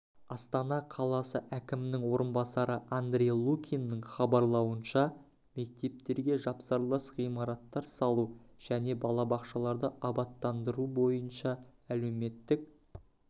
астана қаласы әкімінің орынбасары андрей лукиннің хабарлауынша мектептерге жапсарлас ғимараттар салу және балабақшаларды абаттандыру бойынша әлеуметтік